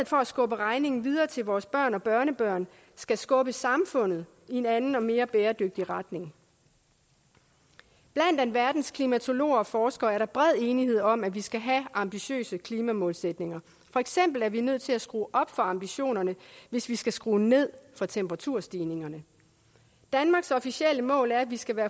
for at skubbe regningen videre til vores børn og børnebørn skal skubbe samfundet i en anden og mere bæredygtig retning blandt alverdens klimatologer og forskere er der bred enighed om at vi skal have ambitiøse klimamålsætninger for eksempel er vi nødt til at skrue op for ambitionerne hvis vi skal skrue ned for temperaturstigningerne danmarks officielle mål er at vi skal være